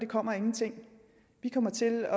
kommer af ingenting vi kommer til